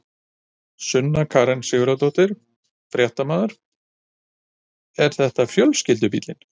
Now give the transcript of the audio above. Sunna Karen Sigurþórsdóttir, fréttamaður: Er þetta fjölskyldubíllinn?